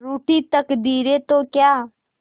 रूठी तकदीरें तो क्या